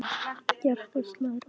Hjartað slær ört.